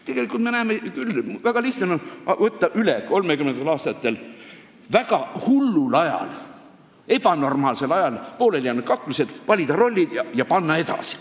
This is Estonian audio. Tegelikult me näeme küll, et väga lihtne on võtta üle 1930. aastatel, väga hullul ajal, ebanormaalsel ajal pooleli jäänud kaklused, valida rollid ja panna edasi.